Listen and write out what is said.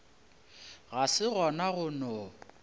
ga se gona go no